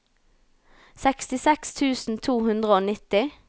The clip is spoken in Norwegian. sekstiseks tusen to hundre og nitti